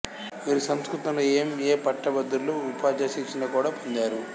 వీరు సంస్కృతంలో M A భట్టభద్రులు ఉపాధ్యాయ శిక్షణ కూడా పొందారు